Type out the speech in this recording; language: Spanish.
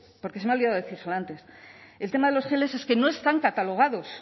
porque se me ha olvidado decírselo antes el tema de los geles es que no están catalogados